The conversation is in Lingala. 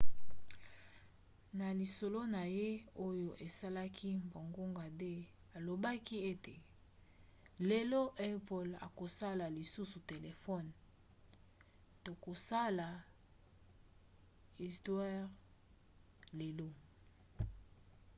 na lisolo na ye oyo esalaki bangonga 2 alobaki ete lelo apple akosala lisusu telefone tokosala istware lelo